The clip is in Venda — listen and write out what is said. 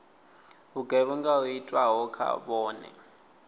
vhugevhenga ho itwaho kha vhone